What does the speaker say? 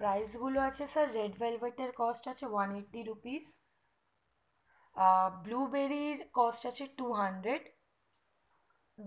price গুলো আছে sir read velvate এর cost আছে one eighty rupees আ blue berry র cost আছে two hundred